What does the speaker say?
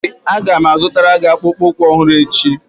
Ee, Aga m azụtara gị akpụkpọ ụkwụ ọhụrụ echi